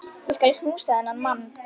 Ég skal knúsa þennan mann!